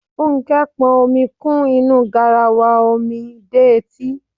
Fúnkẹ́ pọn omi kún inú garawa omi dé etí.